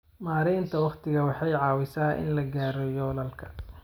Maareynta waqtigu waxay caawisaa in la gaaro yoolalka.